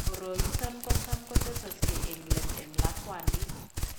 Koroiton kotam kotesaksei eng' let eng' lakwandit